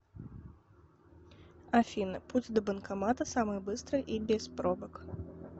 афина путь до банкомата самый быстрый и без пробок